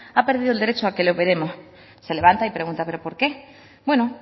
ha perdido el derecho a que le operemos se levanta y pregunta pero por qué bueno